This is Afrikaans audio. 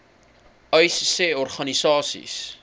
uys sê organisasies